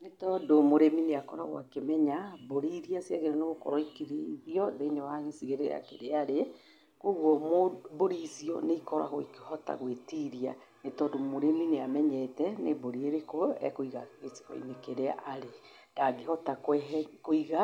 Nĩ tondũ mũrimi nĩ akoragwo akĩmenya mbũri iria ciagĩrĩirwo nĩ gũkorwo ikĩrĩithio thĩiniĩ wa gĩcigĩrĩra kĩrĩa arĩ. Koguo mbũri icio nĩ ikoragwo ikĩhota gwĩtiria, ni tondũ mũrĩmi nĩ amenyete nĩ mbũri ĩrĩkũ ekũiga gĩcigo-inĩ kĩrĩa arĩ. Ndangĩhota kuiga